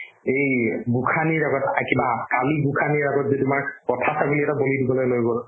এই গোঁসানীৰ লগত এই কিবা কালি গোঁসানীৰ আগত যে তোমাৰ পঠা ছাগলী এটা বলি দিবলৈ লৈ গ'ল